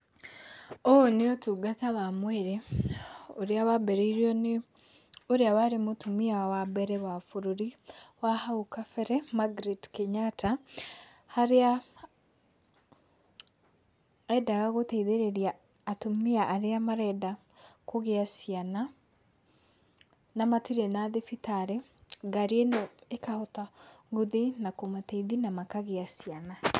Ũyũ nĩ ũtungata wa mwĩrĩ, ũrĩa wambĩrĩirio nĩ ũrĩa warĩ mũtumia wa mbere wa bũrũri wa hau kabere Margaret Kenyatta, harĩa endaga gũteithĩrĩria atumia arĩa marenda kũgĩa ciana, na matirĩ na thibitarĩ, ngari ĩno ĩkahota gũthiĩ na kũmateithia na makagĩa ciana.